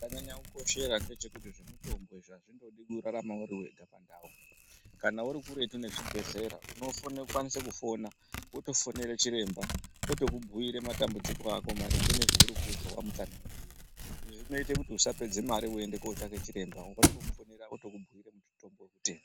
Chakanyanya kukoshera ngechekuti zvemitombo izvi azvidi kurarama uri wega pandau. Kana uri kuretu nechibhedhlera unokwanise kufona, wotofonera chiremba wotokubhuira matambudziko ako maringe nezveuri kuzwa wamutsanangurira. Izvi zvinoite kuti usapedze mare weienda kootsvake chiremba wotongomufonera wotokubhuira mutombo wekutenga.